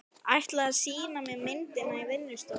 Ætlaði að sýna mér myndir á vinnustofunni.